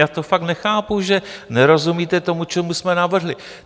Já to fakt nechápu, že nerozumíte tomu, co jsme navrhli.